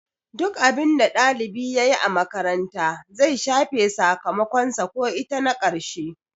Duk abinda ɗalibi yayi a makaranta zai shafe sakamakon sa ko ita na karshe